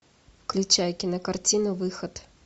включай кинокартину выход